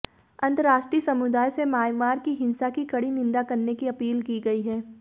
अंतर्राष्ट्रीय समुदाय से म्यांमार की हिंसा की कड़ी निंदा करने की अपील की गई है